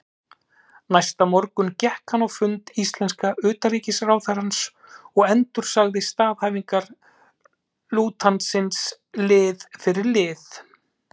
Næsta morgun gekk hann á fund íslenska utanríkisráðherrans og endursagði staðhæfingar lautinantsins lið fyrir lið.